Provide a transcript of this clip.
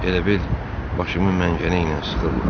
Elə bil başımı məngənə ilə sıxırlar.